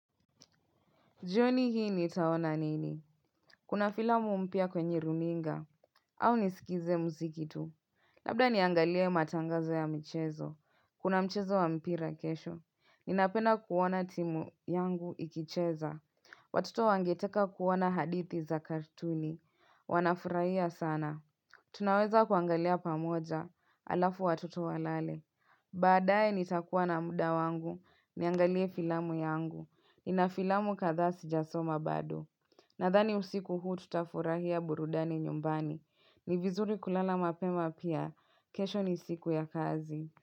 Jioni hii nitaona nini? Kuna filamu mpya kwenye runinga. Au nisikize mziki tu. Labda niangalie matangazo ya mchezo. Kuna mchezo wa mpira kesho. Ninapenda kuoana timu yangu ikicheza. Watoto wangeteka kuoana hadithi za kartuni. Wanafuraia sana. Tunaweza kuangalia pamoja alafu watoto walale. Baadae nitakuwa na muda wangu niangalie filamu yangu. Nina filamu kadhaa si jasoma bado Nadhani usiku huu tutafurahia burudani nyumbani Nivizuri kulala mapema pia kesho ni siku ya kazi.